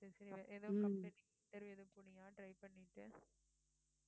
சரி சரி எதுவும் company கு interview ஏதும் போனியா try பண்ணிட்டு